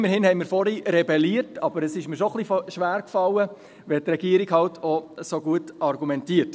Immerhin haben wir vorhin rebelliert, aber es fiel mir schon etwas schwer, wenn die Regierung auch so gut argumentiert.